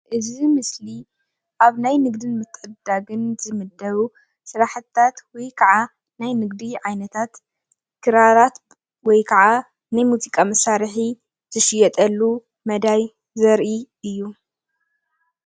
እዚ ምስሊ ኣብ ናይ ንግዲ ምትዕድዳግን ዝምደቡ ስራሕቲታት ወይ ከዓ ናይ ንግዲ ዓይነታት ክራራት ወይ ከዓ ንሙዚቃ መሳርሒ ዝሽየጠሉ መዳይ ዘርኢ እዩ፡፡